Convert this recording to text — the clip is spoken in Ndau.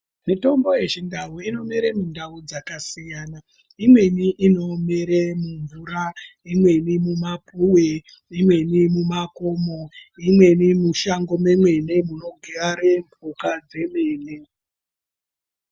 Mutombo yechindau inomere mundau dzakasiyana imweni inomere mumvura imweni mumapuwe imweni mumakomo imweni mushango mwemene munogare mhuka dzemene.